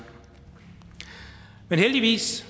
i men heldigvis